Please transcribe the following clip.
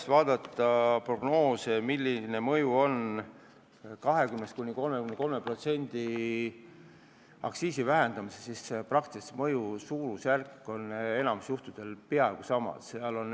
Kui vaadata tabelist prognoose, milline mõju on 20–33% aktsiisi vähendamisel, siis mõju suurusjärk on enamikul juhtudel peaaegu sama.